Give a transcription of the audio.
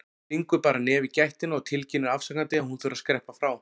Stingur bara nefi í gættina og tilkynnir afsakandi að hún þurfi að skreppa frá.